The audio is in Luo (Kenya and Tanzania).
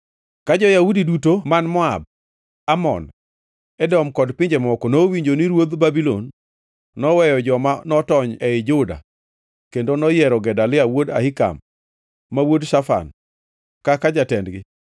Ka jo-Yahudi duto man Moab, Amon, Edom kod pinje mamoko nowinjo ni ruodh Babulon noweyo joma notony ei Juda kendo noyiero Gedalia wuod Ahikam, ma wuod Shafan, kaka jatendgi,